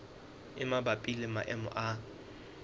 e mabapi le maemo a